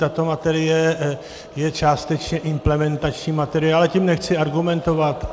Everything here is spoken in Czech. Tato materie je částečně implementační materie, ale tím nechci argumentovat.